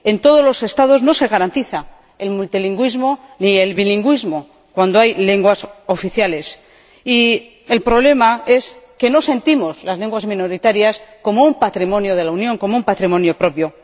En todos los Estados no se garantiza el multilingüismo ni el bilingüismo cuando hay lenguas oficiales, y el problema es que no sentimos las lenguas minoritarias como un patrimonio de la Unión, como un patrimonio propio.